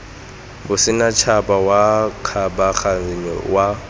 wa bosetšhaba wa kgabaganyo wa